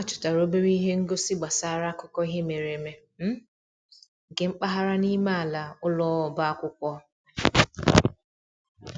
Ha chọtara obere ihe ngosi gbasara akụkọ ihe mere eme um nke mpaghara n'ime ala ụlọ ọba akwụkwọ